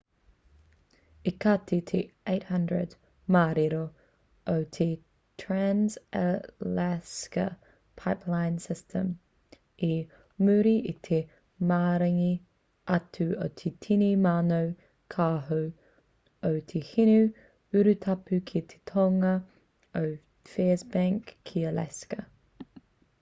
i kati te 800 māero o te trans-alaska pipeline system i muri i te maringi atu o te tini mano kāho o te hinu urutapu ki te tonga o fairbanks ki alaska